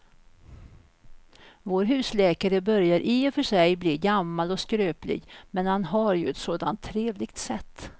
Vår husläkare börjar i och för sig bli gammal och skröplig, men han har ju ett sådant trevligt sätt!